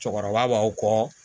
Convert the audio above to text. Cɛkɔrɔba b'aw kɔ